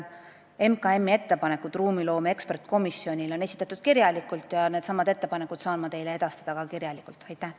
MKM-i ettepanekud ruumiloome eksperdikomisjonile on esitatud kirjalikult ja needsamad ettepanekud saan ma teile ka kirjalikult edastada.